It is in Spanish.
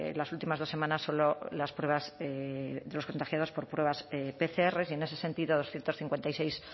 las últimas dos semanas solo las pruebas de los contagiados por pruebas pcr y en ese sentido doscientos cincuenta y seis